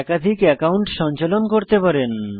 একাধিক একাউন্ট সঞ্চালন করতে পারেন